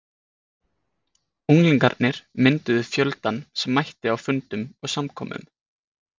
Unglingarnir mynduðu fjöldann sem mætti á fundum og samkomum.